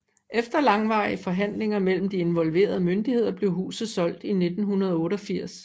Efter langvarige forhandlinger mellem de involverede myndigheder blev huset solgt i 1988